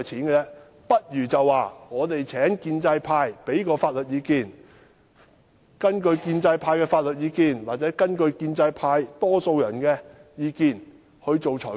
他倒不如說請建制派提供法律意見，然後根據這些法律意見或建制派多數人的意見作出裁決。